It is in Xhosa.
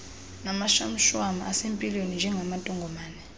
namashwamshwam asempilweni njengamantongomane